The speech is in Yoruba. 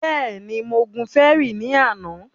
Bẹ́ẹ̀ni, mo gun fẹrí ní àná